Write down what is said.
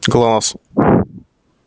класс